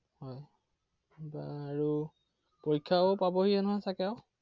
হয় এতিয়া আৰু পৰীক্ষাও পাবহিয়ে নহয় চাগে আৰু?